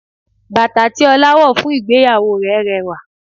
Bàtà tí Ọlá wọ̀ fún ìgbéyàwó rẹ̀ rẹwà